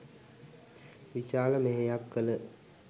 විශාල මෙහෙයක් කළ